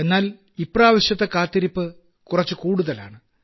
എന്നാൽ ഇപ്രാവശ്യത്തെ കാത്തിരിപ്പ് കുറച്ചു കൂടുതലാണ്